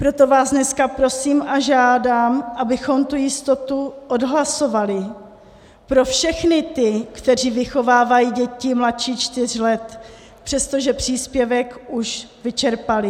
Proto vás dneska prosím a žádám, abychom tu jistotu odhlasovali pro všechny ty, kteří vychovávají děti mladší čtyř let, přestože příspěvek už vyčerpali.